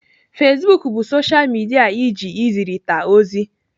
Facebook bụ soshal midia eji ezirita ozi.